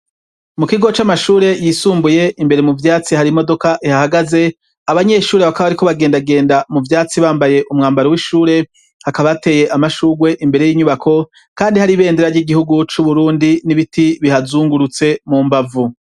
Mu kigo c'amashure yisumbuye imbere mu vyatsi hari imodoka ihahagaze abanyeshuri abakab ariko bagendagenda mu byatsi bambaye umwambaro w'ishure hakaba hateye amashugwe imbere y'inyubako kandi hari ibendera ry'igihugu c'uburundi n'ibiti bihazungurutse mu mbavu.